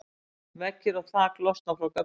veggir og þak losna frá göflunum